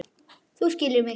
Þú skilur mig.